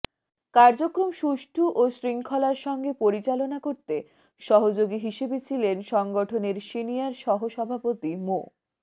কার্যক্রম সুষ্ঠু ও শৃঙ্খলার সঙ্গে পরিচালনা করতে সহযোগী হিসেবে ছিলেন সংগঠনের সিনিয়র সহ সভাপতি মো